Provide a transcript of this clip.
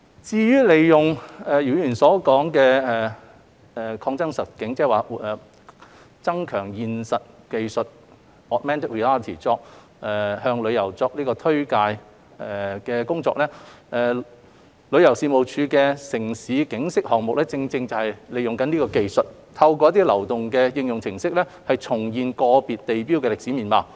至於利用姚議員提到的擴增實境技術，即"增強現實技術"向旅客作推介工作，旅遊事務署的"城市景昔"項目正正是利用此技術，透過流動應用程式，重現個別地標的歷史面貌。